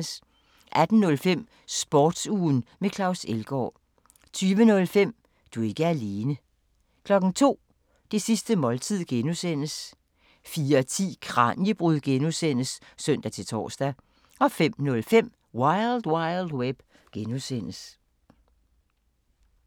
18:05: Sportsugen med Claus Elgaard 20:05: Du er ikke alene 02:00: Det sidste måltid (G) 04:10: Kraniebrud (G) (søn-tor) 05:05: Wild Wild Web (G)